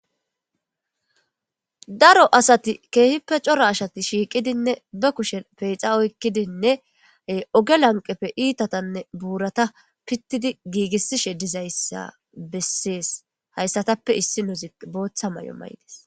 daro asati keehippe cora ashati shiiqidinne ba kushen peexa oykkidinne oge lanqepfe iitatanne buurata pittidi giigissishe dizayssa bessees hayssatappe issi nuzi booththa may7o maydis